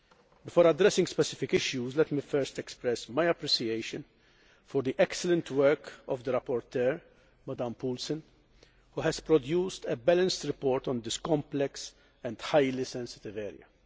Before addressing specific issues, let me first express my appreciation for the excellent work of the rapporteur, Ms Paulsen, who has produced a balanced report on this complex and highly sensitive area.